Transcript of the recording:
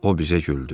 O bizə güldü.